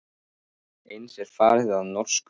Eins er farið að í norsku.